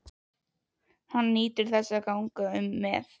Hann nýtur þess að ganga um með